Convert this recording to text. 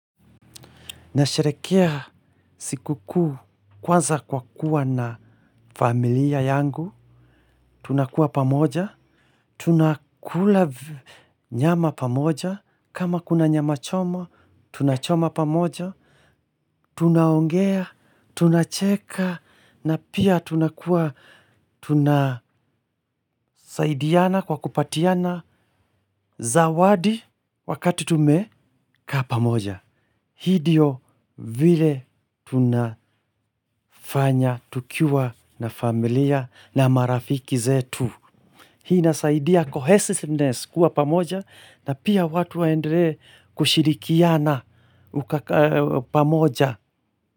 Nasherehekea siku kuu kwanza kwa kuwa na familia yangu. Tunakuwa pamoja, tunakula nyama pamoja, kama kuna nyama choma tunachoma pamoja, tunaongea, tunacheka, na pia tunakuwa, tunasaidiana kwa kupatiana zawadi wakati tumekaa pamoja. Hii ndiyo vile tunafanya, tukiwa na familia na marafiki zetu. Hii inasaidia cohesisness kuwa pamoja na pia watu waendelee kushirikiana pamoja.